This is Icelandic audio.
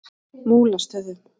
Múlastöðum